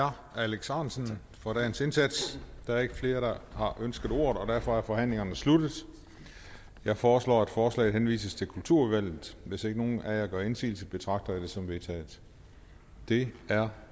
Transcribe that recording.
herre alex ahrendtsen for dagens indsats der er ikke flere der har ønsket ordet og derfor er forhandlingen sluttet jeg foreslår at forslaget henvises til kulturudvalget hvis ikke nogen af jer gør indsigelse betragter jeg dette som vedtaget det er